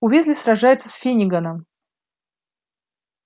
уизли сражается с финниганом